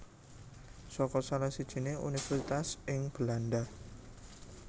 saka salah sijiné universitas ing Belanda